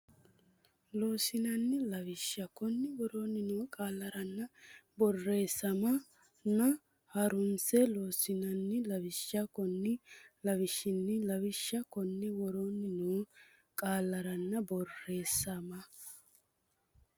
Loossinanni lawishsha Konni woroonni noo qaallaranna borreesseemma ona ha runse Loossinanni lawishsha Konni Loossinanni lawishsha Konni woroonni noo qaallaranna borreesseemma.